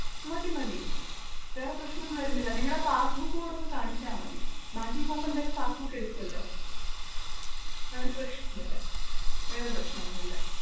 മതിമതി വേറേ പ്രശ്നമൊന്നും വരുന്നില്ല നിങ്ങടെ passbook കൂടൊന്ന് കാണിച്ചാൽ മതി ബാങ്കിൽ പോകുമ്പൊ എന്തായാലും passbook എടുക്കുമല്ലോ? വേറേ പ്രശ്നമൊന്നുമില്ല വേറേ പ്രശ്നപ്രശ്നമൊന്നുമില്ല.